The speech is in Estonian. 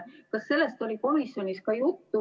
Kas sellest oli ka komisjonis juttu?